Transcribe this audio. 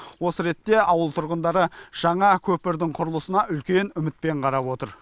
осы ретте ауыл тұрғындары жаңа көпірдің құрылысына үлкен үмітпен қарап отыр